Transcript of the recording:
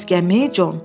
Bəs gəmi, Con?